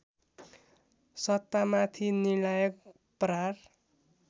सत्तामाथि निर्णायक प्रहार